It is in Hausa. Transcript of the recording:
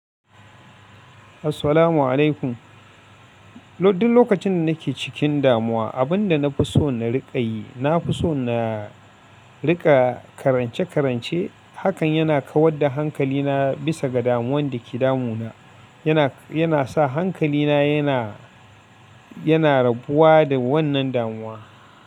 Assalamu alaikum. Loddin lokacin da nake cikin damuwa, abin da na fi so na riƙa yi, na fi so na riƙa karance-karance. Hakan yana kawar da hankalina bisa ga damuwan da ke damuna. Yana, yana sa hankalina yana, yana rabuwa da wannan damuwa.